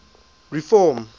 reform